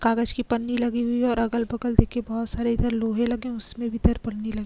कागज की पन्नी लगी हुई है और अगल बगल देखिए बहुत सारे इधर लोहे लगे उसमें भी इधर पन्नी लगी लग --